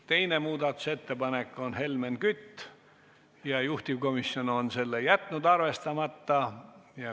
Teine muudatusettepanek on Helmen Kütilt ja selle on juhtivkomisjon arvestamata jätnud.